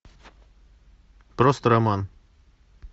просто роман